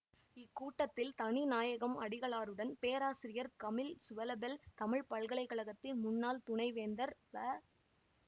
இக்கூட்டத்தில் தனிநாயகம் அடிகளாருடன் பேராசிரியர் கமில் சுவெலபில் தமிழ் பல்கலை கழகத்தின் முன்னாள் துணைவேந்தர் வ